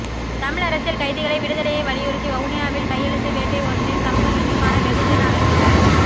தமிழ் அரசியல் கைதிகளை விடுதலையை வலியுறுத்தி வவுனியா வில் கையெழுத்து வேட்டை ஒன்றினை சமூக நீதிக்கான வெகுஜன அமைப்பினர்